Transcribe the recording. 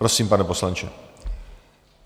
Prosím, pane poslanče.